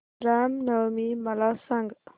राम नवमी मला सांग